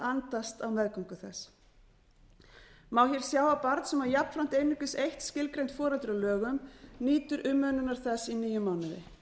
andast á meðgöngu þess má hér sjá að barn sem á jafnframt einungis eitt skilgreint foreldri að lögum nýtur umönnunar þess í níu mánuði